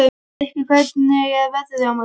Myrkvi, hvernig er veðrið á morgun?